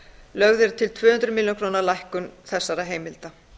lögð er til tvö hundruð milljóna króna lækkun þessara heimilda